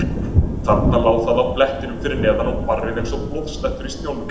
Þarna lá það á blettinum fyrir neðan og barrið eins og blóðslettur í snjónum.